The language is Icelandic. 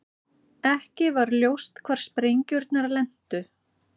Ekki var ljóst hvar sprengjurnar lentu